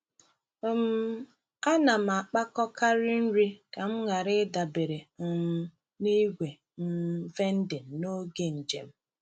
um Ana m akpakọkarị nri ka m ghara ịdabere um na igwe um vending n’oge njem.